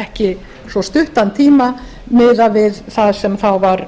ekki svo stuttan tíma miðað við það sem þá var